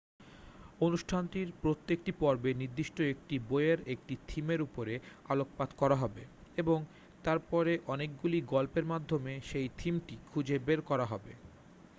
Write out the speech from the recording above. অনুষ্ঠানটির প্রত্যেকটি পর্বে নির্দিষ্ট একটি বইয়ের একটি থিমের উপরে আলোকপাত করা হবে এবং তারপরে অনেকগুলি গল্পের মাধ্যমে সেই থিমটি খুঁজে বের করা হবে